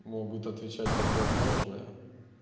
могут отвечать противоположное